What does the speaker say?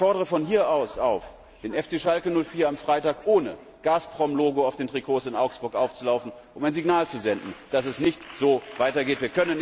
Und ich fordere von hier aus den FC Schalke 04 auf, am Freitag ohne Gazprom Logo auf den Trikots in Augsburg aufzulaufen, um ein Signal zu senden, dass es so nicht weitergeht.